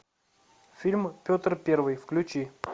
фильм петр первый включи